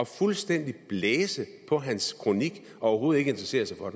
fuldstændig at blæse på hans kronik og overhovedet ikke interessere sig for